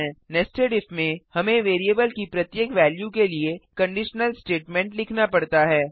nested if में हमें variable की प्रत्येक वेल्यू के लिए कंडीशनल स्टेटमेंट लिखना पड़ता है